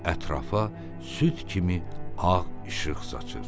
Ətrafa süd kimi ağ işıq saçır.